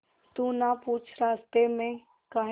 तू ना पूछ रास्तें में काहे